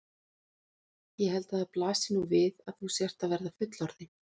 Ég held að það blasi nú við að þú sért að verða fullorðin.